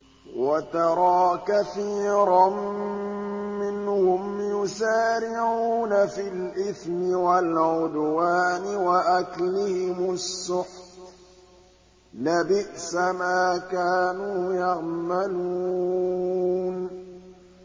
وَتَرَىٰ كَثِيرًا مِّنْهُمْ يُسَارِعُونَ فِي الْإِثْمِ وَالْعُدْوَانِ وَأَكْلِهِمُ السُّحْتَ ۚ لَبِئْسَ مَا كَانُوا يَعْمَلُونَ